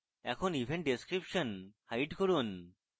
এখন event description hide করুন